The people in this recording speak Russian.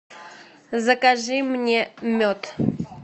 закажи мне мед